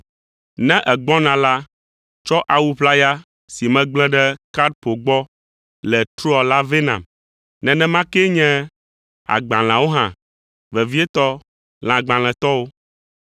Ne ègbɔna la, tsɔ awu ʋlaya si megblẽ ɖe Karpo gbɔ le Troa la vɛ nam. Nenema kee nye agbalẽawo hã, vevietɔ lãgbalẽtɔwo.